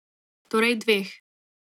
Torej dveh.